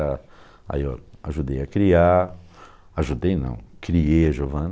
ah. Aí eu ajudei a criar, ajudei não, criei a Giovana.